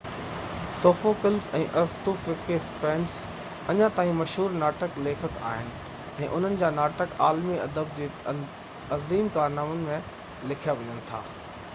Sophocles ۽ ارسطوفينس اڃا تائين مشهور ناٽڪ ليکڪ آهن ۽ انهن جا ناٽڪ عالمي ادب جي عظيم ڪارنامن ۾ ليکيا وڃن ٿا